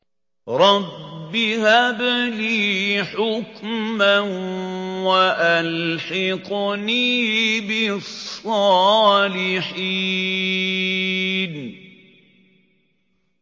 رَبِّ هَبْ لِي حُكْمًا وَأَلْحِقْنِي بِالصَّالِحِينَ